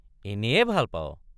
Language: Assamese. এনেয়ে ভাল পাৱ?